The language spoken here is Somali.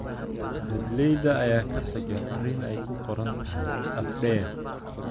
Dableyda ayaa ka tagay fariin ay ku qoran tahay "Af dheer"